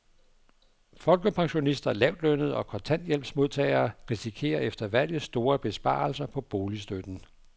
Folkepensionister, lavtlønnede og kontanthjælpsmodtagere risikerer efter valget store besparelser på boligstøtten.